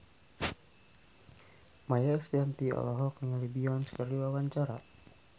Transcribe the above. Maia Estianty olohok ningali Beyonce keur diwawancara